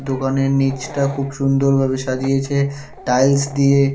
দোকানের নীচটা খুব সুন্দর ভাবে সাজিয়েছে টাইলস দিয়ে।